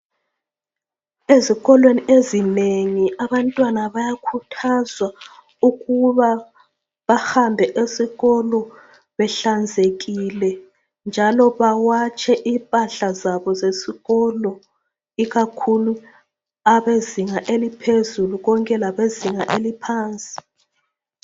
Ezikolweni ezinengi abantwana bayakhuthazwa ukuba bahambe esikolo behlanzekile njalo bawatshe impahla zabo zesikolo ikakhulu abezinga eliphezulu konke labezinga eliphansi.